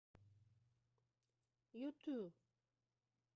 юту